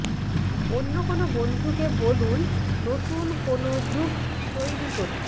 অন্য কোনো বন্ধুকে বলুন নতুন কোনো গ্রুপ তৈরি করতে